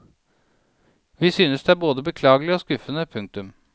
Vi synes det er både beklagelig og skuffende. punktum